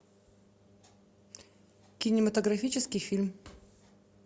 кинематографический фильм